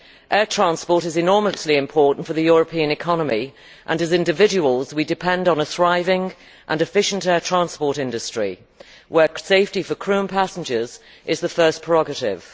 Air transport is enormously important for the European economy and as individuals, we depend on a thriving and efficient air transport industry where safety for crew and passengers is the first prerogative.